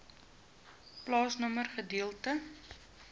plaasnommer gedeelte